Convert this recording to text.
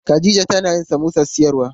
Khadija tana yin samosar siyarwa.